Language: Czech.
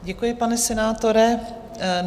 Děkuji, pane senátore.